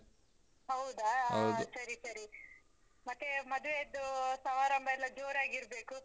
ಹೌದಾ! ಸರಿ ಸರಿ. ಮತ್ತೇ ಮದ್ವೆಯದ್ದೂ ಸಮಾರಂಭ ಎಲ್ಲ ಜೋರಾಗಿರ್ಬೇಕು?